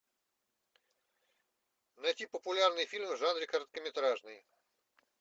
найти популярные фильмы в жанре короткометражный